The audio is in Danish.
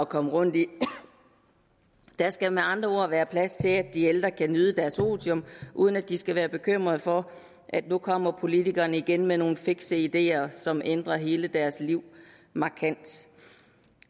komme rundt i der skal med andre ord være plads til at de ældre kan nyde deres otium uden at de skal være bekymret for at nu kommer politikerne igen med nogle fikse ideer som ændrer hele deres liv markant